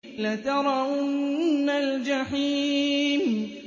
لَتَرَوُنَّ الْجَحِيمَ